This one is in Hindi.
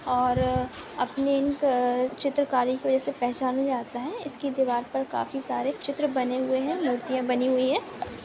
और अपने इन चित्रकारी की वजह से पहचाने जाते है इसकी दीवार पर काफी सारे चित्र बने हुए है मूर्तियां बनी हुई है।